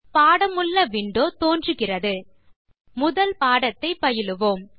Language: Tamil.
பாடமுள்ள விண்டோ தோன்றுகிறது முதல் பாடத்தை பயிலுவோம்